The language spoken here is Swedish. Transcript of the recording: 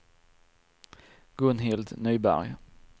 Gunhild Nyberg